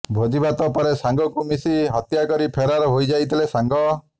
ଭୋଜିଭାତ ପରେ ସାଙ୍ଗକୁ ମିଶି ହତ୍ୟା କରି ଫେରାର୍ ହୋଇଯାଇଥିଲେ ସାଙ୍ଗ